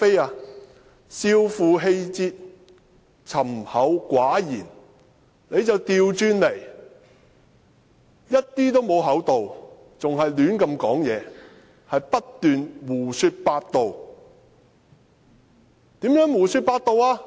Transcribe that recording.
是少負氣節，沉厚寡言，他卻相反，完全不厚道，而且更胡亂說話，不斷地胡說八道。